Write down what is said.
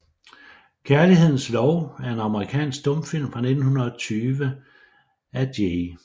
Kærlighedens Lov er en amerikansk stumfilm fra 1920 af J